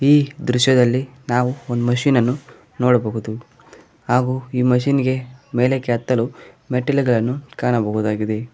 ಈ ದೃಶ್ಯದಲ್ಲಿ ನಾವು ಒಂದು ಮಷೀನ್ ಅನ್ನು ನೋಡಬಹುದು ಹಾಗೂ ಈ ಮಿಷನ್ಗೆ ಮೇಲಕ್ಕೆ ಹತ್ತಲು ಮೆಟ್ಟಿಲುಗಳನ್ನು ಕಾಣಬಹುದಾಗಿದೆ.